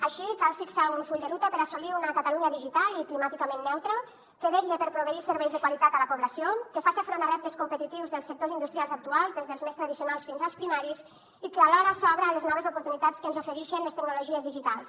així cal fixar un full de ruta per assolir una catalunya digitalment i climàticament neutra que vetlli per proveir de serveis de qualitat la població que faça front a reptes competitius dels sectors industrials actuals des dels més tradicionals fins als primaris i que alhora s’obre a les noves oportunitats que ens ofereixen les tecnologies digitals